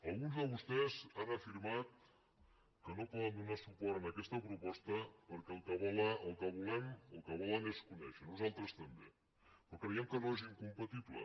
alguns de vostès han afirmat que no poden donar suport en aquesta proposta perquè el que volen és conèixer nosaltres també però creiem que no és incompatible